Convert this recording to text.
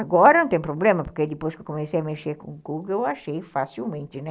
Agora não tem problema, porque depois que eu comecei a mexer com o Google, eu achei facilmente, né?